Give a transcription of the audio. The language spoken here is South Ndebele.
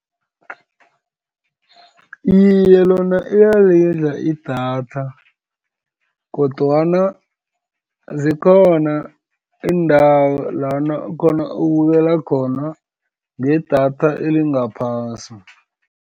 Iye, lona iyalidla idatha, kodwana zikhona iindawo lana ukubukela khona ngedatha elingaphasi.